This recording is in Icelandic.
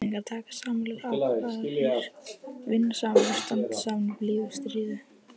Jafningjar taka sameiginlegar ákvarðanir, vinna saman og standa saman í blíðu og stríðu.